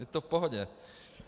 Je to v pohodě.